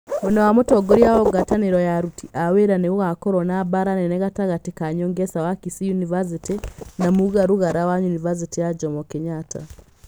Mwena wa mũtongoria wa ngwatanĩro ya aruti a wĩra nĩ gũgakorwo na mbaara nene gatagatĩ ka Nyongesa wa Kisii yunivacĩtĩ na Muga Rugara wa yunivacĩtĩ ya Jomo Kenyatta.